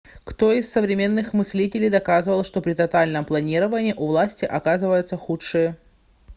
кто из современных мыслителей доказывал что при тотальном планировании у власти оказываются худшие